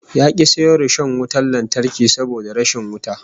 Ya ki sayo rishon wutan lantarki saboda rashin wuta